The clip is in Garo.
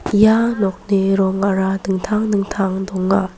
ia nokni rongara dingtang dingtang donga.